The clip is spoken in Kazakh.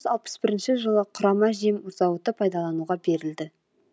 алпыс бірінші жылы құрама жем зауыты пайдалануға берілді